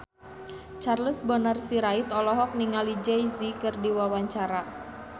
Charles Bonar Sirait olohok ningali Jay Z keur diwawancara